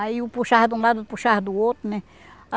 Aí eu puxava de um lado, puxava do outro, né?